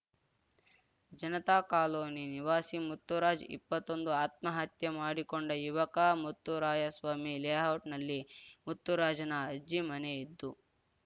Janata colony ನಿವಾಸಿ ಮುತ್ತುರಾಜ್‌ ಇಪ್ಪತ್ತೊಂದು ಆತ್ಮಹತ್ಯೆ ಮಾಡಿಕೊಂಡ ಯುವಕ ಮುತ್ತೂರಾಯಸ್ವಾಮಿ ಲೇಔಟ್‌ನಲ್ಲಿ ಮುತ್ತುರಾಜ್‌ನ ಅಜ್ಜಿ ಮನೆ ಇದ್ದು